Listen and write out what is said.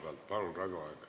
Palun, Raivo Aeg!